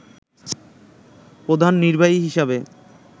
প্রধান নির্বাহী হিসেবে